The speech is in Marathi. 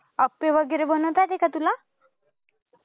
अप्पे वगैरे बनवता येते का तुला?